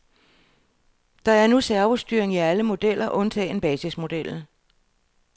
Der er nu servostyring i alle modeller undtagen basismodellen.